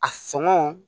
A sɔngɔ